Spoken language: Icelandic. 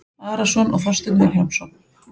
Arason og Þorstein Vilhjálmsson